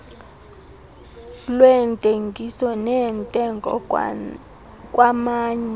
lweentengiso neentengo kwamanye